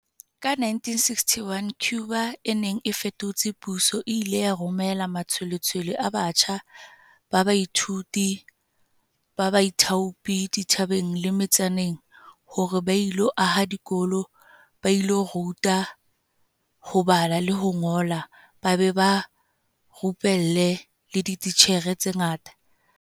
Ka 1961, Cuba e neng e fetotse puso e ile ya romela matshwe-letshwele a batjha ba baithuti ba baithaopi dithabeng le me-tsaneng hore ba ilo aha dikolo, ba ilo ruta ho bala le ho ngola ba be ba rupelle le dititjhere tse ntjha.